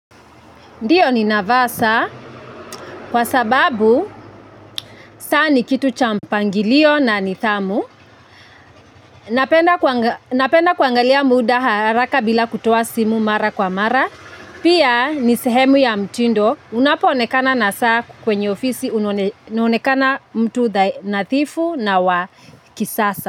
Ndiyo nina vaa saa kwa sababu saa ni kitu cha mpangilio na nidhamu. Napenda kuangalia muda haraka bila kutoa simu mara kwa mara. Pia ni sehemu ya mtindo unapo onekana na saa kwenye ofisi unaonekana mtu nadhifu na wa kisasa.